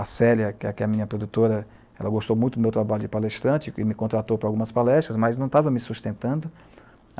A Célia, que é a minha produtora, ela gostou muito do meu trabalho de palestrante e me contratou para algumas palestras, mas não estava me sustentando.